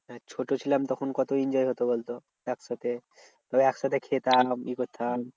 মানে ছোট ছিলাম তখন কত enjoy হতো বলতো একসাথে একসাথে খেতাম ই করতাম।